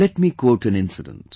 Let me quote an incident